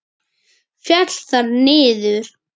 Féll þar niður.